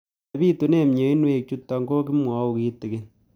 Ole pitune mionwek chutok ko kimwau kitig'�n